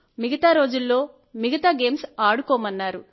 మిగతారోజుల్లో మిగతా గేమ్స్ అడుకొమ్మన్నారు